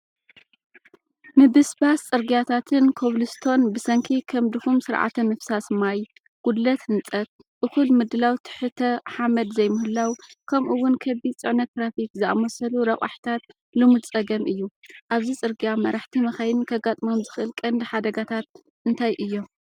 ምብስባስ ጽርግያታት ኮብልስቶን ብሰንኪ ከም ድኹም ስርዓተ ምፍሳስ ማይ፣ ጉድለት ህንፀት፣ እኹል ምድላው ትሕተ-ሓመድ ዘይምህላው፣ ከምኡ እውን ከቢድ ፅዕነት ትራፊክ ዝኣመሰሉ ረቛሒታት ልሙድ ፀገም እዩ። ኣብዚ ጽርግያ መራሕቲ መካይን ከጋጥሞም ዝኽእል ቀንዲ ሓደጋታት እንታይ እዮም?